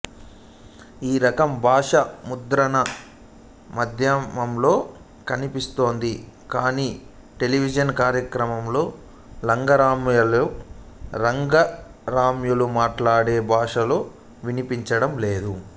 ఈ రకం భాష ముద్రణా మాధ్యమంలో కనిపిస్తోంది కాని టెలివిజన్ కార్యక్రమాల్లో లంగరమ్మలు లంగరయ్యలు మాట్లాడే భాషలో వినిపించటం లేదు